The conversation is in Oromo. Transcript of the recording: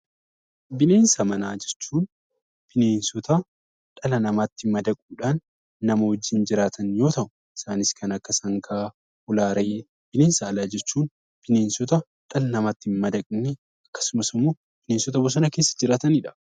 Bineensa manaa jechuun bineensota dhala namaatti madaquudhaan nama waliin jiraatan yoo ta'u; isaannis kan akka sangaa, Hoolaa fi Re'ee fa'i. Bineensa alaa jechuun kanneen dhala namaatti hin madaqne akkasumas immoo bineensota bosona keessa jiraataniidha.